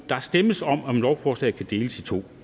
der stemmes om om lovforslaget kan deles i to